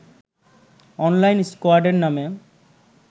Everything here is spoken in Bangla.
অনলাইন স্কয়াডের নামে